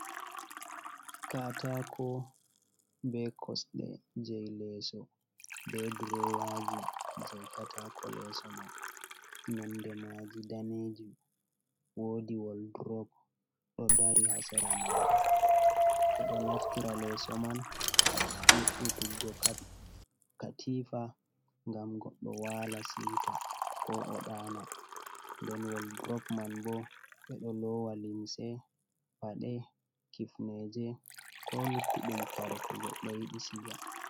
Katako be kosde jai leso be drowaji jei katako leso man nonde maji daneji wodi woldrop do dari ha sera mahol bedo naftira leso man ha we’utuggo katifa gam goddo wala siwta ko o dana, den woldrop man bo bedo lowa limse pade kifneje ko luttudum kare ko goddo yidi siga.